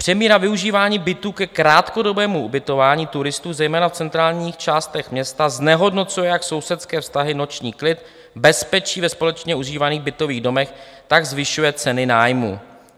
- Přemíra využívání bytů ke krátkodobému ubytování turistů zejména v centrálních částech města znehodnocuje jak sousedské vztahy, noční klid, bezpečí ve společně užívaných bytových domech, tak zvyšuje ceny nájmů.